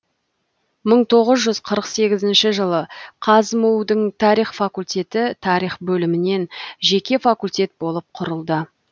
мың тоғыз жүз қырық сегізінші жылы қазму дың тарих факультеті тарих бөлімінен жеке факультет болып құрылды